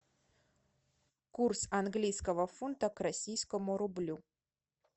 курс английского фунта к российскому рублю